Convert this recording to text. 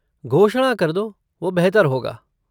घोषणा कर दो, वो बेहतर होगा।